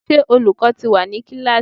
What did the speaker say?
Ṣé olùkọ́ ti wà ní kíláàsì?